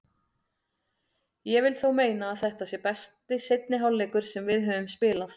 Ég vil þó meina að þetta sé besti seinni hálfleikur sem við höfum spilað.